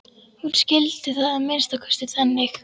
Hún skildi það að minnsta kosti þannig.